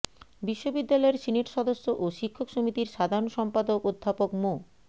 বিশ্ববিদ্যালয়ের সিনেট সদস্য ও শিক্ষক সমিতির সাধারণ সম্পাদক অধ্যাপক মো